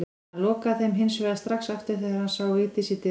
Hann lokaði þeim hins vegar strax aftur þegar hann sá Vigdísi í dyrunum.